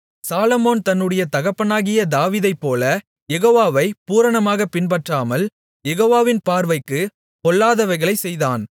சாலொமோன் தன்னுடைய தகப்பனாகிய தாவீதைப்போல யெகோவாவைப் பூரணமாகப் பின்பற்றாமல் யெகோவாவின் பார்வைக்குப் பொல்லாதவைகளைச் செய்தான்